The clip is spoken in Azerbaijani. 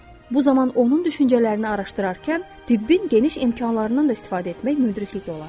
Bu zaman onun düşüncələrini araşdırarkən tibbin geniş imkanlarından da istifadə etmək müdriklik olar.